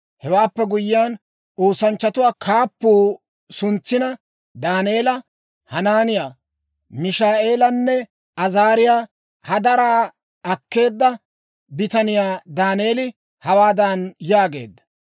Hewaappe guyyiyaan, oosanchchatuwaa kaappuu suntsina Daaneela, Hanaaniyaa, Mishaa'eelanne Azaariyaa hadaraa akkeedda bitaniyaa Daaneeli hawaadan yaageedda,